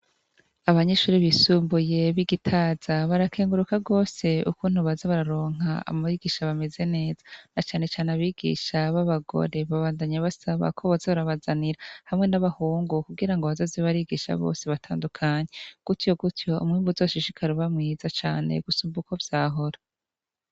abanyishuri bisumbuye b'igitaza barakenguruka gose ukuntu baza bararonka amarigisha bameze neza na cyane cyane abigisha b'abagore babandanye basaba ko baze barabazanira hamwe n'abahungu kugira ngo bazazebarigisha bose batandukanye gutyo gutyo umwimbu zashishikara ubamwiza cyane gusumba uko byahora